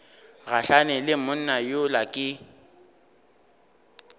gahlane le monna yola ke